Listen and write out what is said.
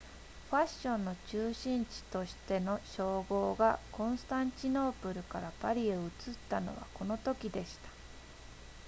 ファッションの中心地としての称号がコンスタンチノープルからパリへ移ったのはこのときでした